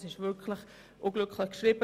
diese war wirklich unglücklich formuliert.